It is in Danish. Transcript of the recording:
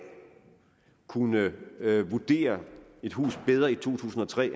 kunne vurdere et hus bedre i to tusind og tre i